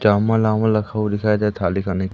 चामुल लागूल रखा हुआ दिखाई दे रहा थाली खानी के लिए--